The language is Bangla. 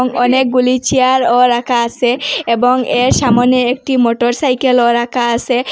এবং অনেকগুলি চেয়ারও রাখা আসে এবং এর সামোনে একটি মোটরসাইকেলও রাখা আসে।